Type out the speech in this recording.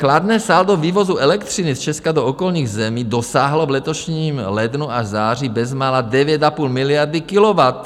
Kladné saldo vývozu elektřiny z Česka do okolních zemí dosáhlo v letošním lednu až září bezmála 9,5 miliard kilowatt.